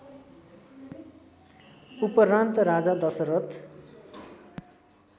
उपरान्त राजा दशरथ